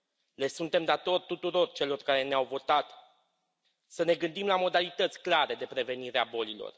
Le suntem datori tuturor celor care ne au votat să ne gândim la modalități clare de prevenire a bolilor.